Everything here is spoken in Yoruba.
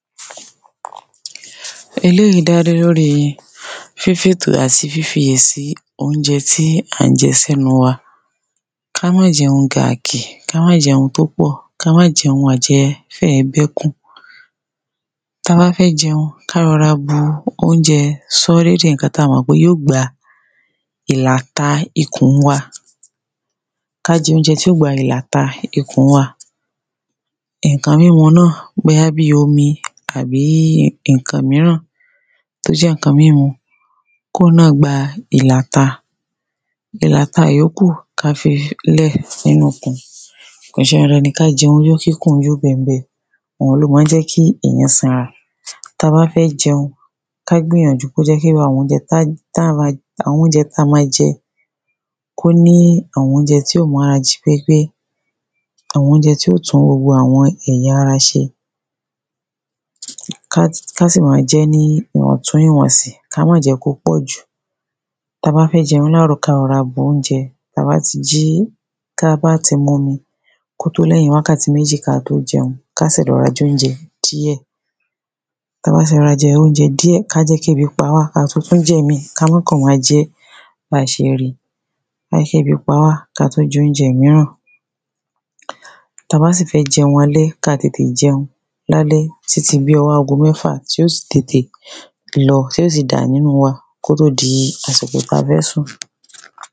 Eléyìí dádé lóri fífétò àtí fífiyè sí óúnje̩ tí à ń je̩ sé̩nu wa. Ká má je̩un gàkì, ká má je̩un tó pò̩, ká má je̩un àje̩ fé̩ e̩ bé̩kùn. Ta bá fé̩ je̩un, ká ro̩ra bu óúnje̩ só̩ré di ǹkan tí a mò̩ pé yí ó gba ìlàta ikùn wa, ká je̩ óúnje̩ tí ó gba ìlàta ikùn wa. Ǹkan mímu náà, bóyá bí omi àbí ǹkan ìmíràn tó jé̩ ǹkan mímu kí òwun ná gba ìlàta. Ìlàta ìyókù ká fi lè̩ nínu íkùn. Kò s̩e dandan kí a je̩un yó kíkùn yó be̩mbe̩, oun ló ma ń jé̩ kí èyán sanra, ta bá fé̩ je̩un, ká gbìnyànjú kójé̩ pé irú àwo̩n óúnje̩ tá táá ma àwo̩n óúnje̩ tá ma je̩ kóní àwo̩n óúnje̩ tí ó mára jí pépé, àwo̩n óúnje̩ tí ó tún gbogbo è̩yara s̩e, ká ká sì ma jé̩ ní ìwò̩tún ìwò̩nsì, ka má je̩ kó pò̩jù. Tabá fé̩ je̩un láàrò̩, ká ro̩ra bu óúnje̩ tabá ti jí, tabá ti momi, kótó lé̩yìn wákàtí méjì kató je̩un, ká sè̩ dè̩ wá je̩ óúnje̩ díè̩. Tabá ti ro̩ra je̩ óúnje̩ díè̩, ká jé̩ kébi pa wà kí a tótó jè̩ mí, ka má kàn ma jé̩ bí a s̩e ri. Láì s̩ébí pa wá, ka tó je̩ óúnje̩ ìmíràn. Tabá sì fé̩ je̩un alé̩, kí a tètè je̩un lálé̩ títi bí o̩wó̩ ago mé̩fà, tí ó si tètè lo̩, tí ó si dà nínu wa kótó di àsìkò ta fé̩ sùn.